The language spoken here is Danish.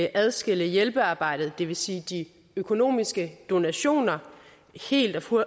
adskille hjælpearbejdet det vil sige de økonomiske donationer helt og